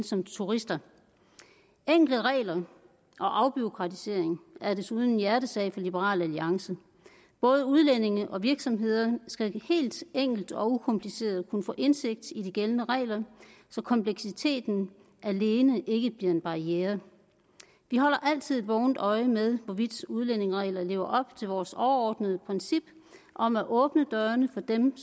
som turister enkle regler og afbureaukratisering er desuden en hjertesag for liberal alliance både udlændinge og virksomheder skal helt enkelt og ukompliceret kunne få indsigt i de gældende regler så kompleksiteten alene ikke bliver en barriere vi holder altid et vågent øje med hvorvidt udlændingereglerne lever op til vores overordnede princip om at åbne dørene for dem